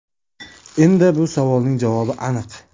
Endi bu savolning javobi aniq.